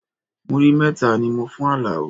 Múrí mẹ́ta ni mo fún Alao